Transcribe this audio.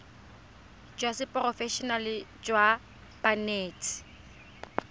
jwa seporofe enale jwa banetshi